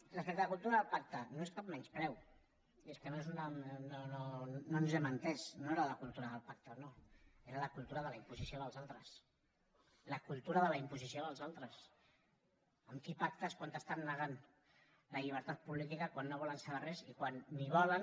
respecte a la cultura del pacte no és cap menyspreu és que no ens hem entès no era la cultura del pacte o no era la cultura de la imposició dels altres la cultura de la imposició dels altres amb qui pactes quan t’estan negant la llibertat política quan no volen saber res i quan ni volen